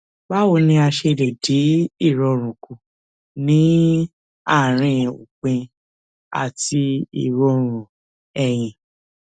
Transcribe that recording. báwo ni a ṣe lè dín ìròrùn kù ní àárín òpin àti ìròrùn ẹyin